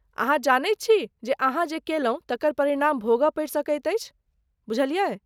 अहाँ जानैत छी जे अहाँ जे कएलहुँ, तकर परिणाम भोगऽ पड़ि सकैत अछि, बुझलियै?